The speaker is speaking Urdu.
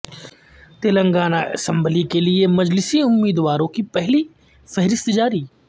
تلنگانہ اسمبلی کے لیے مجلسی امیدواروں کی پہلی فہرست جاری